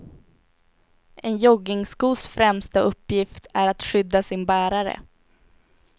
En joggingskos främsta uppgift är att skydda sin bärare.